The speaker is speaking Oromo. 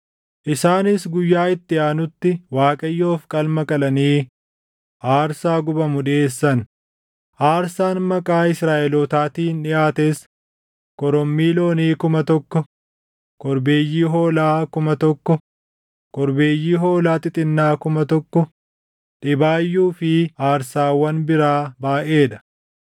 Isaanis guyyaa itti aanutti Waaqayyoof qalma qalanii aarsaa gubamu dhiʼeessan; aarsaan maqaa Israaʼelootaatiin dhiʼaates: korommii loonii kuma tokko, korbeeyyii hoolaa kuma tokko, korbeeyyii hoolaa xixinnaa kuma tokko, dhibaayyuu fi aarsaawwan biraa baayʼee dha.